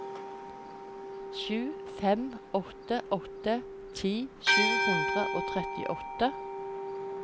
sju fem åtte åtte ti sju hundre og trettiåtte